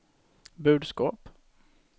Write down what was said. budskap